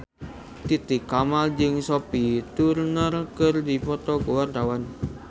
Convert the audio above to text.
Titi Kamal jeung Sophie Turner keur dipoto ku wartawan